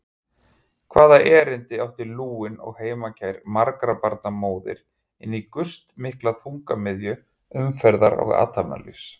Hvaða erindi átti lúin og heimakær margra barna móðir inní gustmikla þungamiðju umferðar og athafnalífs?